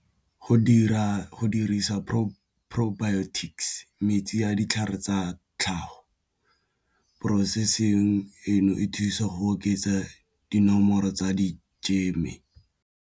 Go dira go dirisa propertics metsi ya ditlhare tsa tlhago processing eno e thusa go oketsa dinomoro tsa di jeme.